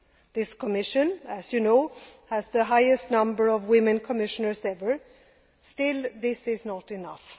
This Commission as you know has the highest number of women commissioners ever. Still, this is not enough.